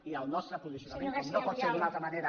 i el nostre posicionament com no pot ser d’una altra manera